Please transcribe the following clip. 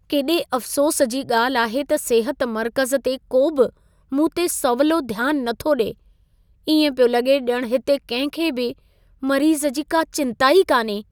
केॾे अफ़सोस जी ॻाल्हि आहे त सिहत मर्कज़ ते को बि मूंते सवलो ध्यान नथो ॾिए। इएं पियो लॻे ॼण हिते कंहिं खे बि मरीज़ जी का चिंता ई कान्हे।